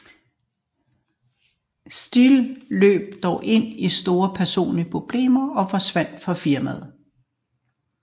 Damien Steele løb dog ind i store personlige problemer og forsvandt fra firmaet